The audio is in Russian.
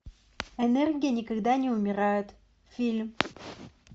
энергия никогда не умирает фильм